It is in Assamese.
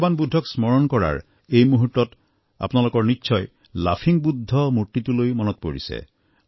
ভগবান বুদ্ধক স্মৰণ কৰাৰ এই মুহূৰ্তত আপোনালোকৰ নিশ্চয় লাফিং বুদ্ধৰ মূৰ্তিটোলৈ মন পৰিছে